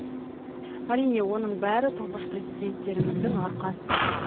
әрине оның бәрі тұңғыш президенттеріңіздің арқасы